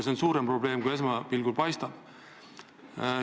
See on suurem probleem, kui esmapilgul paistab.